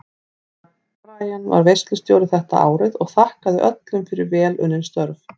Herra Brian var veislustjóri þetta árið og þakkaði öllum fyrir vel unnin störf.